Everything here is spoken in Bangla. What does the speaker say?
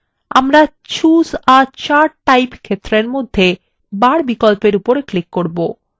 আমরা choose a chart type ক্ষেত্রের মধ্যে বার বিকল্প we উপর click করব